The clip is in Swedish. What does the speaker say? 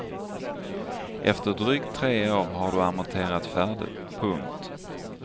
Efter drygt tre år har du amorterat färdigt. punkt